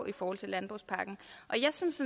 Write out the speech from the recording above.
i forhold til landbrugspakken jeg synes